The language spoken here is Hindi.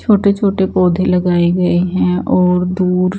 छोटे-छोटे पौधे लगाए गए हैं और दूर__